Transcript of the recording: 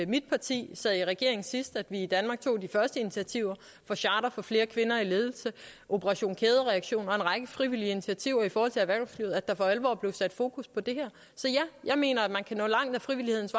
mit parti sad i regering sidst at vi i danmark tog de første initiativer med charter for flere kvinder i ledelse operation kædereaktion og en række frivillige initiativer i forhold til erhvervslivet at der for alvor blev sat fokus på det her så ja jeg mener at man kan nå langt ad frivillighedens